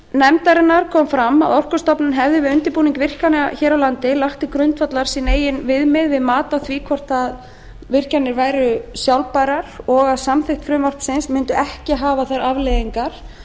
nefndarinnar kom fram að orkustofnun hefði við undirbúning virkjana hér á landi lagt til grundvallar sín eigin viðmið við mat á því hvort virkjanir væru sjálfbærar og að samþykkt frumvarpsins mundi ekki hafa þær afleiðingar